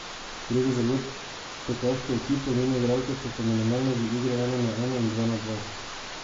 Gre za zelo tekaško ekipo, njene igralke so fenomenalne v igri ena na ena in dva na dva.